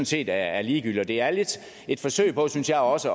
set er ligegyldigt det er lidt et forsøg på synes jeg også